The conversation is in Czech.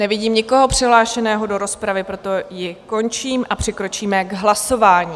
Nevidím nikoho přihlášeného do rozpravy, proto ji končím a přikročíme k hlasování.